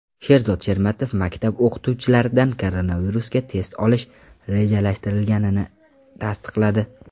Sherzod Shermatov maktab o‘qituvchilaridan koronavirusga test olish rejalashtirilganini tasdiqladi.